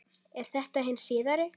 Er þetta hin síðari